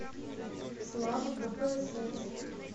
слава кпсс